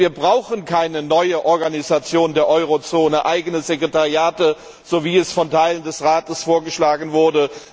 Wir brauchen keine neue Organisation der Eurozone, eigene Sekretariate, so wie es von Teilen des Rates vorgeschlagen wurde.